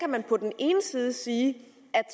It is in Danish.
man på den ene side sige at